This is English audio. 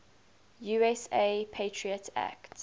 usa patriot act